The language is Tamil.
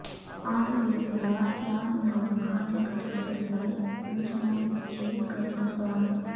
ஆடு விரிகுடா யார் மிகவும் காதல் கடற்கரைகள் ஓர்டிஜோஹொனிகிட்செ கருதப்படும்